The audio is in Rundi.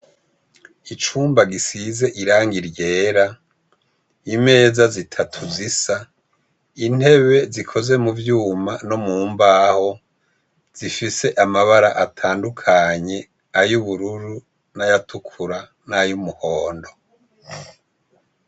Icumba gisize irang’iryera, imeza zitatu zisa intebe zikoze mu vyuma no mu mbaho zifise amabara atandukanye, ay’ubururu n'ayatukura n'ay’umuhondo.